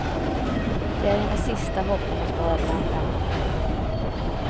Det är hennes sista hopp om att vara bland dem.